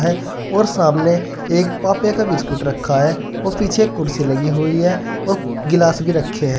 और सामने एक पाप्पे का बिस्किट रखा है और पीछे कुर्सी लगी हुई है और गिलास भी रखे हैं।